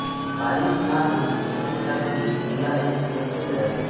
बारिश या हिंदी चित्रपटातही तिला एक नृत्य मिळाले